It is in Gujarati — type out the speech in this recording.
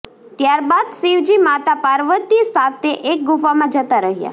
ત્યારબાદ શિવજી માતા પાર્વતી સાથે એક ગુફામાં જતાં રહ્યા